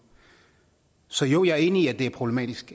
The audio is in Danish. så jo jeg er enig i at det er problematisk